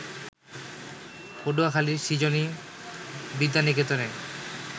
পটুয়াখালীর সৃজনী বিদ্যানিকেতনে